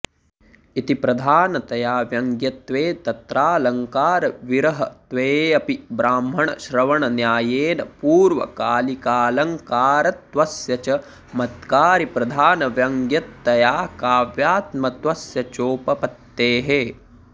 इति प्रधानतया व्यङ्गयत्वे तत्रालङ्कारविरहत्वेऽपि ब्राह्मणश्रवणन्यायेन पूर्वकालिकालङ्कारत्वस्य चमत्कारिप्रधानव्यङ्गयतया काव्यात्मत्वस्य चोपपत्तेः